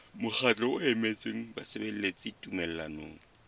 mokgatlo o emetseng basebeletsi tumellanong